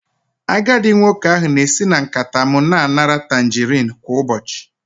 Agadi nwoke ahụ na-esi na nkata m na-anara tangarin kwa ụbọchị